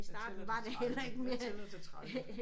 Jeg tæller til 13 jeg tæller til 13